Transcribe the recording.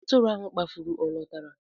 Atụrụ ahụ kpafuru ọ lọtara?